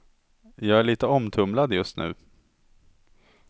Jag är lite omtumlad just nu.